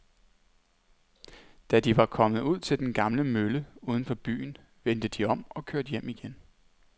Da de var kommet ud til den gamle mølle uden for byen, vendte de om og kørte hjem igen.